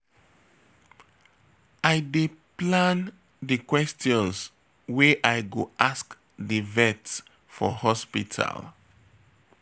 I dey plan di questions wey I go ask di vet for hospital.